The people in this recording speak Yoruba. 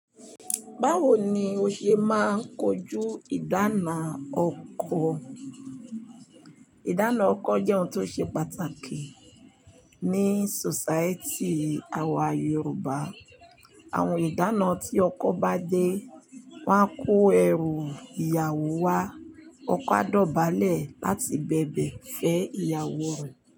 Báwo ni o ṣe máa ń kojú ìdána ọkọ? Ìdána ọkọ jẹ́ ohun tó ṣe pàtàkì ní society àwa Yoruba. Àwọn ìdána tí ọkọ bá dé máa ń kó ẹrù ìyàwó wá, ọkọ á dọ̀bálẹ̀ láti bẹ̀bẹ̀ fẹ́ ìyàwó rẹ̀